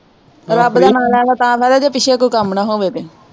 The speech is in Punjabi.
ਰੱਬ ਦਾ ਨਾਂ ਲੈਣ ਦਾ ਤਾਂ ਫਾਇਦਾ ਜੇ ਪਿੱਛੇ ਕੋਈ ਕੰਮ ਨਾ ਹੋਵੇ ਤੇ।